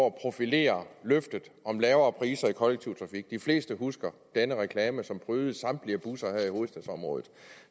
at profilere løftet om lavere priser i kollektiv trafik de fleste husker den reklame som prydede samtlige busser her i hovedstadsområdet